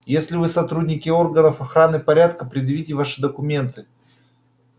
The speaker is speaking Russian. если вы сотрудники органов охраны порядка предъявите ваши документы